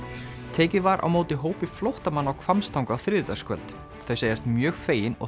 tekið var á móti hópi flóttamanna á Hvammstanga á þriðjudagskvöld þau segjast mjög fegin og